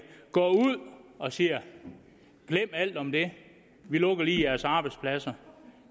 går ud og siger glem alt om det vi lukker lige jeres arbejdspladser